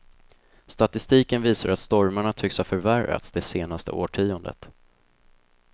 Statistiken visar att stormarna tycks ha förvärrats det senaste årtiondet.